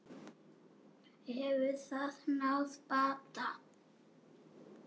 Hefur það náð bata?